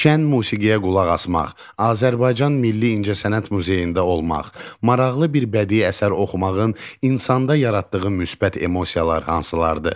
Şən musiqiyə qulaq asmaq, Azərbaycan milli incəsənət muzeyində olmaq, maraqlı bir bədii əsər oxumağın insanda yaratdığı müsbət emosiyalar hansılardır?